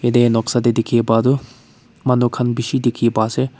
teh noksa teh dikhipai tu manu khan bishi dikhi pai ase.